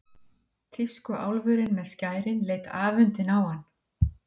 Tískuálfurinn með skærin leit afundinn á hann.